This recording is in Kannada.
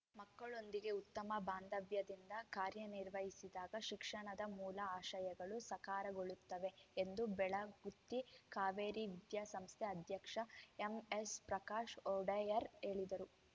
ಮಕ್ಕಳೊಂದಿಗೆ ಉತ್ತಮ ಬಾಂಧವ್ಯದಿಂದ ಕಾರ್ಯನಿರ್ವಹಿಸಿದಾಗ ಶಿಕ್ಷಣದ ಮೂಲ ಆಶಯಗಳು ಸಾಕಾರಗೊಳ್ಳುತ್ತವೆ ಎಂದು ಬೆಳಗುತ್ತಿ ಕಾವೇರಿ ವಿದ್ಯಾಸಂಸ್ಥೆ ಅಧ್ಯಕ್ಷ ಎಂಎಸ್‌ಪ್ರಕಾಶ್‌ ಒಡೆಯರ್‌ ಹೇಳಿದರು